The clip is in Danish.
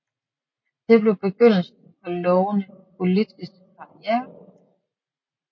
Det blev begyndelsen på lovende politisk karriere